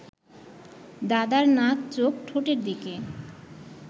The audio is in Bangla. দাদার নাক চোখ ঠোঁটের দিকে